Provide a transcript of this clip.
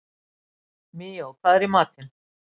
Míó, hvað er í matinn?